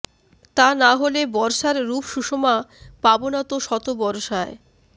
তা না হলে বর্ষার রূপসুষমা পাবো না তো শত বরষায়